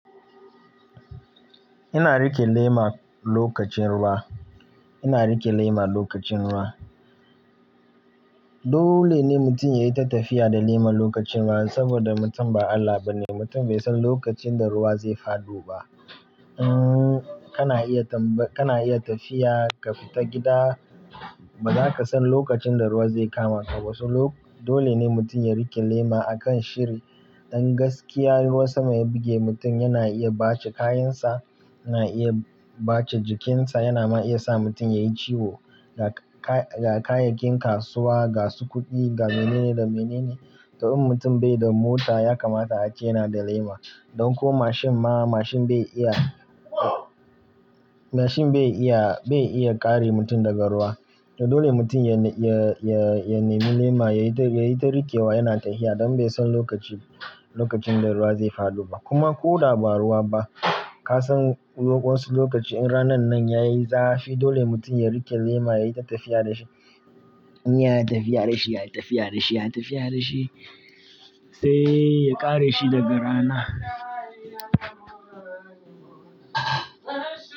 Ina rike lema lokacin ruwa. Ina rike lema lokacin ruwa. Dole ne mutum yayi ta tafiya da lema lokacin ruwa saboda mutum ba Allah ba ne. Mutum bai san lokacin da ruwa zai faɗo ba. Umm, kana iya tamba, kana iya tafiya ka fita gida ba za ka san lokacin da ruwa zai kamaka ba. Wasu lok-- dole ne mutum ya rike lema a kan shiri. Don gaskiya, in ruwan sama ya buge mutum yana iya bace kayansa, yana iya bace jikinsa, yana ma iya sa mutum yayi ciwo. Ga k--ka ga kayayyakin kasuwa, ga su kuɗi, ga mene ne da mene ne. To in mutum bai da mota ya kamata a ce yana da lema. Don ko mashin ma, mashin bai iya, mashin bai iya, bai iya kare mutum daga ruwa. To dole mutum ya ne, ya, ya, ya nemi lema, yayi ta, yayi ta riƙewa yana tahiya don bai san lokaci, lokacin da ruwa zai faɗo ba. Kuma ko da ba ruwa ba, ka san wasu lokaci in ranan nan yayi zafi, dole mutum ya rike lema, yayi ta tafiya da shi, in yayi tafiya da shi, yayi tafiya da shi, yayi tafiya da shi sai ya kare shi daga rana.